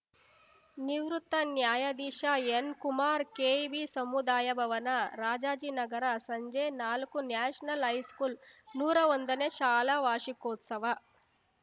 ನಿವೃತ್ತ ನ್ಯಾಯಧೀಶ ಎನ್‌ಕುಮಾರ್‌ ಕೆಇಬಿ ಸಮುದಾಯ ಭವನ ರಾಜಾಜಿನಗರ ಸಂಜೆ ನಾಲ್ಕು ನ್ಯಾಷನಲ್‌ ಹೈಸ್ಕೂಲ್‌ ನೂರಾ ಒಂದನೇ ಶಾಲಾ ವಾರ್ಷಿಕೋತ್ಸವ